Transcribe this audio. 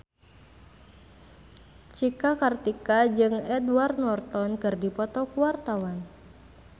Cika Kartika jeung Edward Norton keur dipoto ku wartawan